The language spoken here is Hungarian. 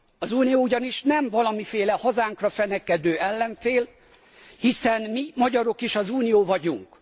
Az Unió ugyanis nem valamiféle hazánkra fenekedő ellenfél, hiszen mi magyarok is az Unió vagyunk.